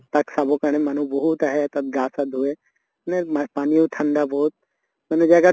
তাক চাবৰ কাৰণে মানুহ বিহুত আহে, তাত গা চা ধোৱে পানীও ঠান্দা বহুত মানে জাগা